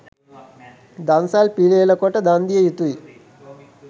දන්සැල් පිළියෙල කොට දන් දිය යුතුයි